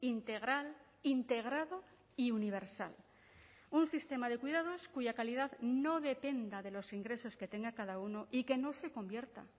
integral integrado y universal un sistema de cuidados cuya calidad no dependa de los ingresos que tenga cada uno y que no se convierta